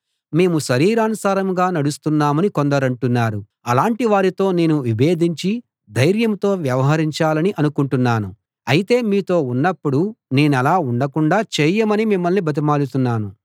మేము శరీరానుసారంగా నడుస్తున్నామని కొందరంటున్నారు అలాంటి వారితో నేను విభేధించి ధైర్యంతో వ్యవహరించాలని అనుకుంటున్నాను అయితే మీతో ఉన్నపుడు నేనలా ఉండకుండాా చేయమని మిమ్మల్ని బతిమాలుతున్నాను